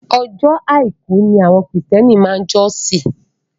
Ọjọ́ àìkú ni àwọn kìrìsìtẹ́nì máa ń jọ́sìn.